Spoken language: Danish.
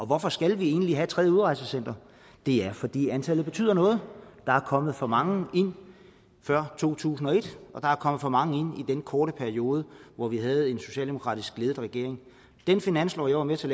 hvorfor skal vi egentlig have et tredje udrejsecenter det er fordi antallet betyder noget der er kommet for mange ind før to tusind og et og der er kommet for mange ind i den korte periode hvor vi havde en socialdemokratisk ledet regering i den finanslov jeg var med til